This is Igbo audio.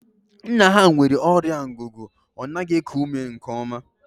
Nna ha nwere ọrịa ngugu, ọ naghị eku ume nke oma